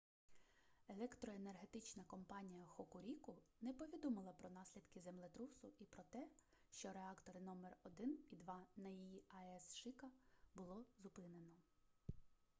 електроенергетична компанія хокуріку не повідомила про наслідки землетрусу і про те що реактори № 1 і 2 на її аес шика було зупинено